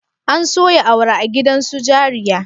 An soya awara a gidan su jariya?